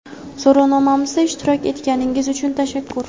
So‘rovnomamizda ishtirok etganingiz uchun tashakkur.